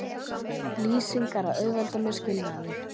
lýsingar að auðvelda mér skilnaðinn.